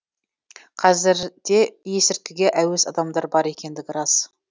қазір де есірткіге әуес адамдар бар екендігі рас